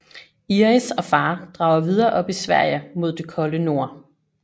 Iris og far drager videre op i Sverige mod det kolde nord